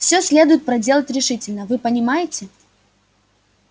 всё следует проделать решительно вы понимаете